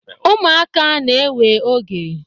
umuaka na-ewe oge